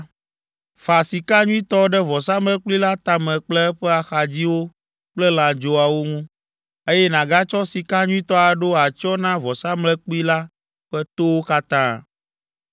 Fa sika nyuitɔ ɖe vɔsamlekpui la tame kple eƒe axadziwo kple lãdzoawo ŋu, eye nàgatsɔ sika nyuitɔ aɖo atsyɔ̃ na vɔsamlekpui la ƒe towo katã.